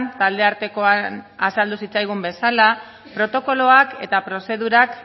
taldeartekoan azaldu zitzaigun bezala protokoloak eta prozedurak